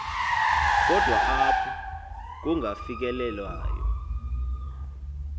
kodwa apho kungafikelelwayo